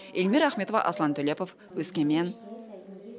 эльмира ахметова аслан төлепов өскемен